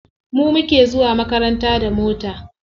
Mu muke zuwa makaranta da mota.